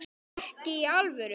Ekki í alvöru.